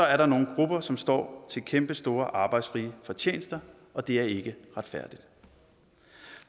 er der nogle grupper som står til kæmpestore arbejdsfrie fortjenester og det er ikke retfærdigt